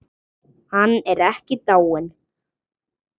Hann er ekki dáinn.